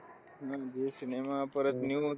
म्हणजे Zee cinema, परत, news